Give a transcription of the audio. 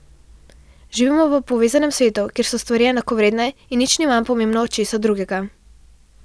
Živimo v povezanem svetu, kjer so stvari enakovredne in nič ni manj pomembno od česa drugega.